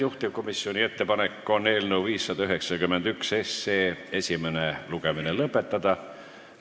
Juhtivkomisjoni ettepanek on eelnõu 591 esimene lugemine lõpetada.